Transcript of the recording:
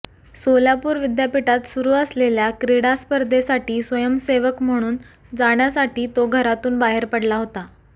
सोलापूर विद्यापीठात सुरू असलेल्या क्रीडा स्पर्धेसाठी स्वयंसेवक म्हणून जाण्यासाठी तो घरातून बाहेर पडला होता